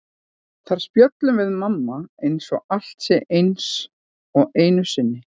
Þar spjöllum við mamma eins og allt sé eins og einu sinni.